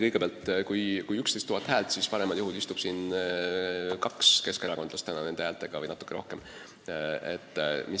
Kõigepealt, kui ta sai 11 000 häält, siis paremal juhul veidi rohkem kui kaks keskerakondlast on siin saalis tänu nendele häältele.